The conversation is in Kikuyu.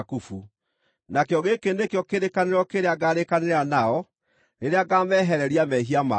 Nakĩo gĩkĩ nĩkĩo kĩrĩkanĩro kĩrĩa ngaarĩkanĩra nao, rĩrĩa ngaamehereria mehia mao.”